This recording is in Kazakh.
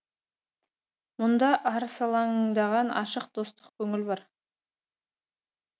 мұнда арсалаңдаған ашық достық көңіл бар